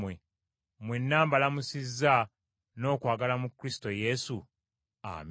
Mwenna mbalamusizza n’okwagala mu Kristo Yesu. Amiina.